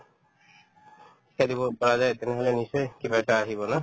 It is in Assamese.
খেলিব পাৰা যায় তেনেহ'লে নিশ্চয় কিবা এটা আহিব ন